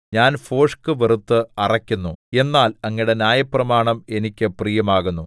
ഞാൻ ഭോഷ്ക് വെറുത്ത് അറയ്ക്കുന്നു എന്നാൽ അങ്ങയുടെ ന്യായപ്രമാണം എനിക്ക് പ്രിയമാകുന്നു